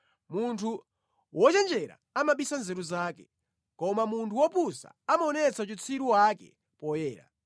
Munthu wochenjera amabisa nzeru zake, koma munthu wopusa amaonetsa uchitsiru wake poyera.